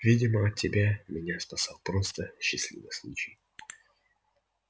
видимо тебя от меня спасал просто счастливый случай